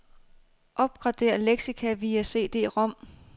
Opgradér leksika via cd-rom.